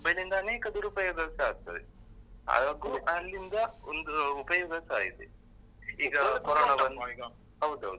Mobile mobile ಯಿಂದಾನೆ ದುರುಪಯೋಗಸ ಆಗ್ತದೆ. ಅಹ್ ಅಲ್ಲಿಂದ ಒಂದು ಉಪಯೋಗಸ ಇದೆ ಈಗ ಹೌದೌದು.